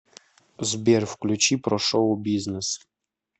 сбер включи про шоу бизнес